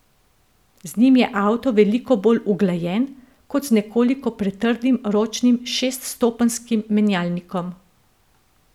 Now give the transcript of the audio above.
Z njim je avto veliko bolj uglajen, kot z nekoliko pretrdim ročnim šeststopenjskim menjalnikom.